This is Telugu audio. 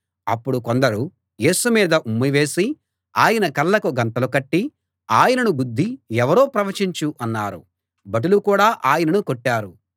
అప్పుడు కొందరు యేసు మీద ఉమ్మివేసి ఆయన కళ్ళకు గంతలు కట్టి ఆయనను గుద్ది ఎవరో ప్రవచించు అన్నారు భటులు కూడా ఆయనను కొట్టారు